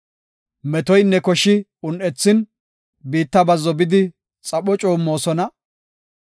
Metoynne koshi un7ethin, biitta bazzo bidi xapho coommosona.